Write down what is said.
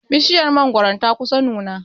Bishiyar mangoron ta kusa nuna.